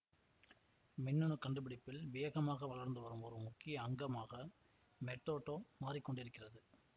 மின்னணு கண்டுபிடிப்பில் வேகமாக வளர்ந்துவரும் ஒரு முக்கிய அங்கமாக மெட்டோட்டோ மாறிக்கொண்டிருக்கிறது